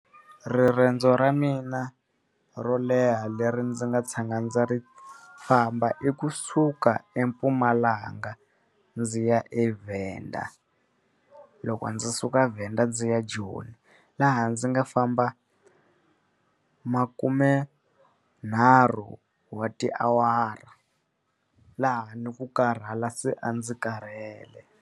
Riendzo ra mina ro leha leri ndzi nga tshama ndza ri famba i kusuka eMpumalanga ndzi ya eVenda. Loko ndzi suka Venda ndzi ya Joni. Laha ndzi nga famba makumenharhu wa tiawara laha ni ku karhala se a ndzi karhele.